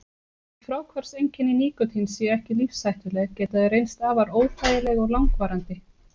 Þótt fráhvarfseinkenni nikótíns séu ekki lífshættuleg geta þau reynst afar óþægileg og langvarandi.